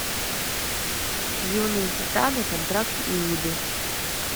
юные титаны контракт иуды